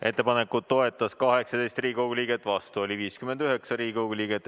Ettepanekut toetas 18 Riigikogu liiget, vastu oli 59.